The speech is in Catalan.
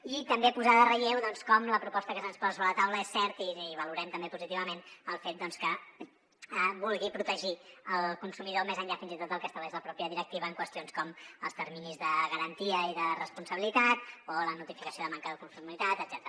i també posar en relleu doncs com la proposta que se’ns posa sobre la taula és cert i valorem també positivament el fet que vulgui protegir el consumidor més enllà fins i tot del que estableix la mateixa directiva en qüestions com els terminis de garantia i de responsabilitat o la notificació de manca de conformitat etcètera